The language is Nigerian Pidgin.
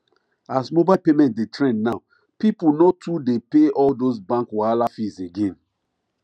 as mobile payment dey trend now people no too dey pay all those bank wahala fees again